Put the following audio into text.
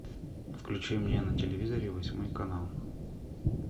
включи мне на телевизоре восьмой канал